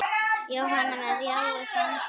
Jóhanna: Með jái, semsagt?